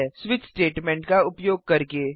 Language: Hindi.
स्विच स्टेटमेंट का उपयोग करके